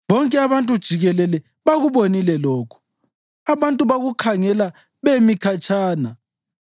Bonke abantu jikelele bakubonile lokhu; abantu bakukhangela bemi khatshana.